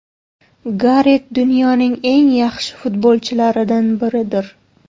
Garet dunyoning eng yaxshi futbolchilaridan biridir.